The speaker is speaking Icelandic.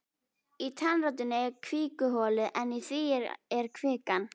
Í tannrótinni er kvikuholið en í því er kvikan.